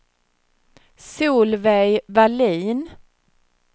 Solveig Vallin